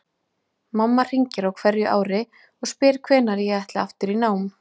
Mamma hringir á hverju ári og spyr hvenær ég ætli aftur í nám.